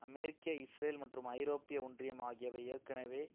அமெரிக்க Israel மற்றும் ஐரோப்பிய ஒன்றியம் ஆகியவை ஏற்கனவே